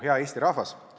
Hea Eesti rahvas!